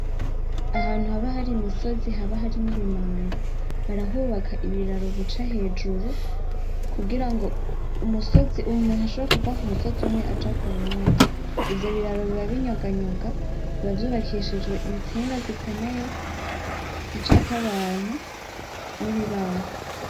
Ahantu haba hari imisozi haba hari n'ibimanga, barahubaka ibiraro bica hejuru kugira ngo musozi, umuntu ashobore kuva ku musozi umwe aja k'uwundi ivyo biraro biba binyoganyoga, biba vyubakishijwe intsinga zikomeye zicako abantu n'ibibaho.